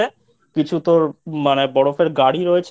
কিছু তোর মানে বরফের গাড়ি রয়েছে।